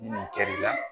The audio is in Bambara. Ni nin kɛli la